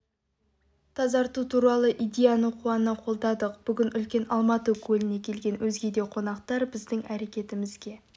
тазарту туралы идеяны қуана қолдадық бүгін үлкен алматы көліне келген өзге де қонақтар біздің әрекетімізге